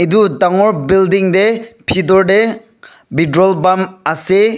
etu dangor building tey bitor te petrol pump ase.